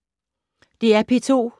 DR P2